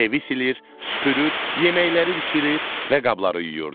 Evi silir, süpürür, yeməkləri bişirir və qabları yuyurdu.